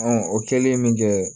o kɛlen min kɛ